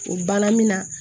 O banna min na